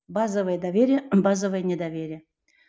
базовое доверие базовое не доверие